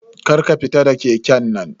Kar ka fita da keken nan.